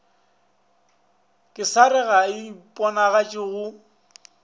kesare ga e iponagatše go